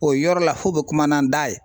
O yɔrɔ la f'o be kuma n'an da ye